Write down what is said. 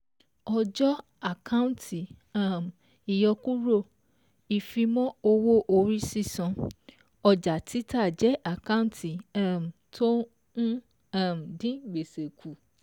Ọjọ́, àkántì um ìyọkúrò, ìfimọ́ owó orí sísan, ọjà títa jẹ́ àkántì um tó ń um dín gbèsè kù.